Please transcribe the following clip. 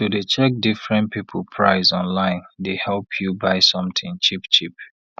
to dey check different people price online dey help you buy sometin cheap cheap